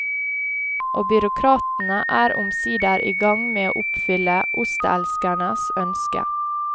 Og byråkratene er omsider i gang med å oppfylle osteelskernes ønske.